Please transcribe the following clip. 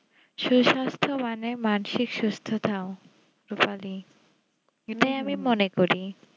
সুস্বাস্থ বনের মাঝে থাও রুপালি আমি মনে করি